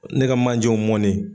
Ne ka manjɛw mɔnni.